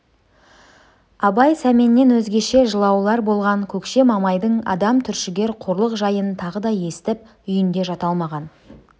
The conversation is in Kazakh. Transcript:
абай сәменнен өзгеше жылаулар болған көкше мамайдың адам түршігер қорлық жайын тағы да естіп үйінде жата алмаған